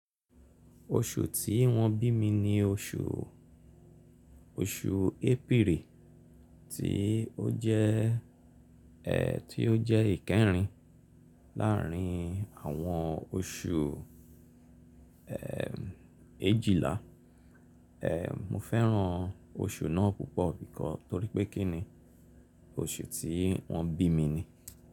Oṣù tí wọ́n bí mi ni oṣù, oṣù April ti ó jẹ́, ẹ́ ti ó jẹ́ ìkẹrìn láàrin àwọn oṣù, ẹ́ èjìlá. Ẹ́ mo fẹ́ràn oṣù náà púpọ̀ bí kọ́ torí pé kíni oṣù tí wọ́n bí mi ni.